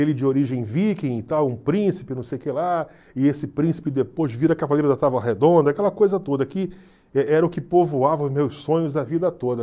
ele de origem viking e tal, um príncipe, não sei o que lá, e esse príncipe depois vira cavaleiro da távola redonda, aquela coisa toda que e era o que povoava os meus sonhos a vida toda.